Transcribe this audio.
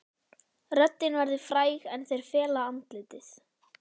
Röddin verður fræg en þeir fela andlitið.